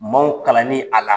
Maaw kalanni a la.